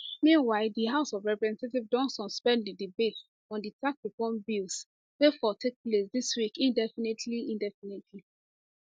meanwhile di house of representatives don suspend di debate on di tax reforms bills wey for take place dis week indefinitely indefinitely